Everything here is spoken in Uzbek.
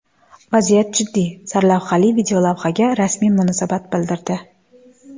Vaziyat jiddiy” sarlavhali videolavhaga rasmiy munosabat bildirdi .